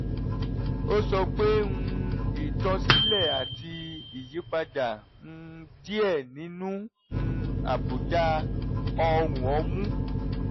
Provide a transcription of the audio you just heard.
ó sọ pé um "ìtọsílẹ̀ àti ìyípadà um díẹ̀ nínú um àbùdá ọrùn ọmú"